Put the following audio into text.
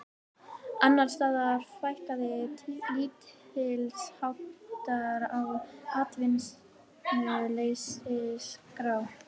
Annars staðar fækkaði lítilsháttar á atvinnuleysisskrá